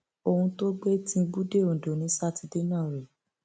ohun tó gbé tìǹbù dé ondo ni sátidé náà rèé